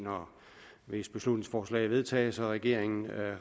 hvis beslutningsforslaget vedtages og regeringen